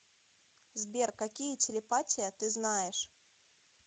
сбер какие телепатия ты знаешь